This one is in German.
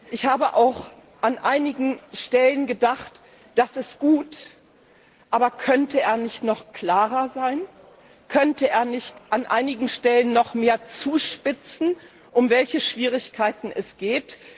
Ich habe auch an einigen Stellen gedacht Das ist gut, aber könnte er nicht noch klarer sein? Könnte er nicht an einigen Stellen noch mehr zuspitzen, um welche Schwierigkeiten es geht?